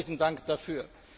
Herzlichen Dank dafür!